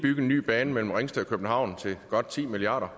bygge en ny bane mellem ringsted og københavn til godt ti milliard